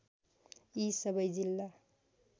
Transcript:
यी सबै जिल्ला